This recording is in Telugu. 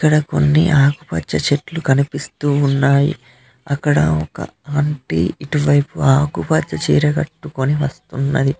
ఇక్కడ కొన్ని ఆకుపచ్చ చెట్లు కనిపిస్తూ ఉన్నాయి అక్కడ ఒక ఆంటీ ఇటువైపు ఆకుపచ్చ చీర కట్టుకొని వస్తున్నది.